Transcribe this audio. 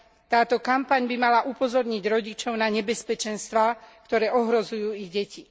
Táto kampaň by mala upozorniť rodičov na nebezpečenstvá, ktoré ohrozujú ich deti.